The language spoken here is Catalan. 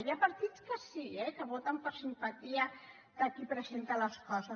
hi ha partits que sí eh que voten per simpatia de qui presenta les coses